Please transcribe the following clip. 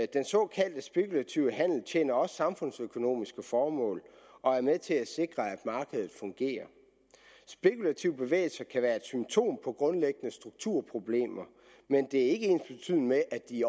den såkaldt spekulative handel tjener også samfundsøkonomiske formål og er med til at sikre at markedet fungerer spekulative bevægelser kan være et symptom på grundlæggende strukturproblemer men det er ikke ensbetydende med at de